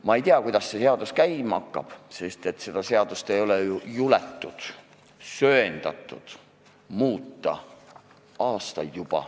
Ma ei tea, kuidas selle seadusega minema hakkab, seda seadust ei ole söandatud muuta juba aastaid.